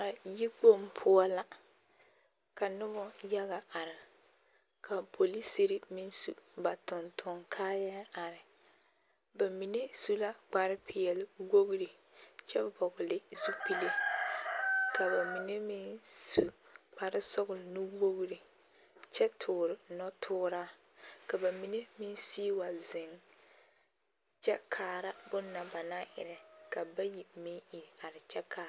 A yikpoŋ poɔ la ka nobɔ yaga are ka polisiri meŋ su ba tontoŋ kaayaa are, bamine su la kpare peɛle wogiri kyɛ vɔgele zupile ka bamine meŋ su kpare sɔgele nu-wogiri kyɛ toore nɔtooraa ka bamine meŋ sigi wa zeŋ kyɛ kaara bone na ba naŋ erɛ ka bayi meŋ iri are kyɛ kaara.